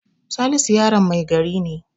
Salisu yaron mai gari ne.